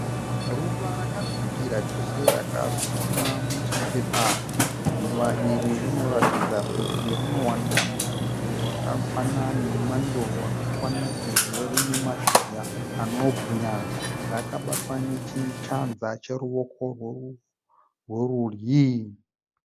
Ruva rakasvibira chose rakasimwa muchipepa. Ruva iri rinoratidza kuti rinowana mupfudze wakakwana nemwando wakakwana sezvo rine mashizha anobwinya. Rakabatwa nechanza cheruoko rwerudyi.